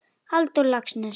Halldór Laxness